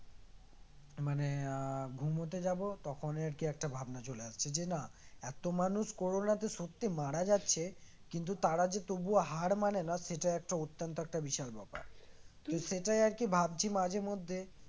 মানে আহ ঘুমোতে যাব তখন আরকি একটা ভাবনা চলে আসছে যে না এত মানুষ কোরোনা সত্যি মারা যাচ্ছে কিন্তু তারা যে তবু হার মানে না সেটা একটা অত্যন্ত একটা বিশাল ব্যাপার তো সেটাই আর কি ভাবছি মাঝেমধ্যে